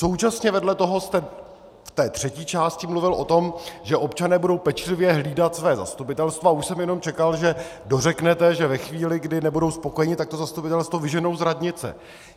Současně vedle toho jste v té třetí části mluvil o tom, že občané budou pečlivě hlídat své zastupitelstvo, a už jsem jenom čekal, že dořeknete, že ve chvíli, kdy nebudou spokojeni, tak to zastupitelstvo vyženou z radnice.